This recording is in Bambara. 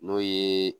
N'o ye